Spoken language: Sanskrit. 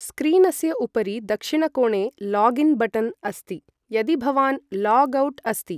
स्क्रीनस्य उपरि दक्षिणकोणे लॉगिन् बटन् अस्ति, यदि भवान् लॉग् आउट् अस्ति।